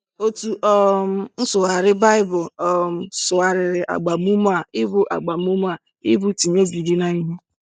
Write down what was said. Otu um nsụgharị Baịbụl um sụgharịrị agbamume a ịbụ agbamume a ịbụ ‘tinye obi gị n’ihe.'